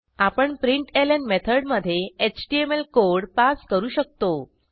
आपण प्रिंटलं मेथडमधे एचटीएमएल कोड पास करू शकतो